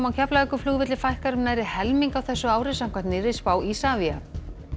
á Keflavíkurflugvelli fækkar um nærri helming á þessu ári samkvæmt nýrri spá Isavia